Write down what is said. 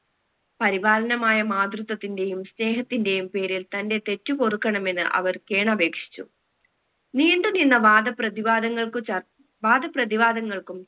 പരിപാലനമായ മാതൃത്വത്തിന്റെയും സ്നേഹത്തിന്റെയും പേരിൽ തന്റെ തെറ്റ് പൊറുക്കണമെന്ന് അവർ കേണപേക്ഷിച്ചു നീണ്ടുനിന്ന വാദപ്രതിവാദങ്ങൾക്കു ചർ വാദപ്രതിവാദങ്ങൾക്കും